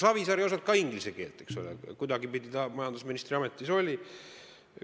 Savisaar ei osanud ka inglise keelt, aga kuidagi ta majandusministri ametis oli.